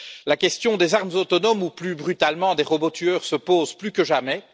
La question des armes autonomes ou, plus brutalement, des robots tueurs, se pose plus que jamais.